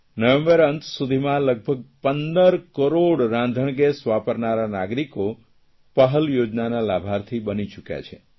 નવેંબર અંત સુધીમાં લગભગ 15 કરોડ રાંધણગેસ વાપરનારા નાગરિકો પહલ યોજનાના લાભાર્થી બની ચૂક્યા છે